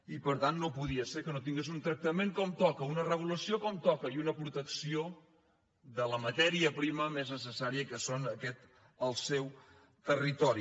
i per tant no podia ser que no tingués un tractament com toca una regulació com toca i una protecció de la matèria primera més necessària que és aquest el seu territori